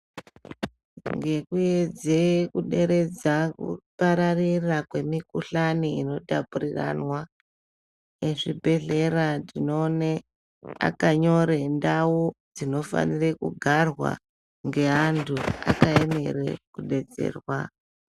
Ngekuedze kuderedza kupararira kwemikuhlani inotapuriranwa, vezvibhedhlera tinoone vakanyore ndau dzinofanire kugarwa ngeantu akaemere kudetserwa.